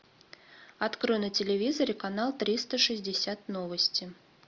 открой на телевизоре канал триста шестьдесят новости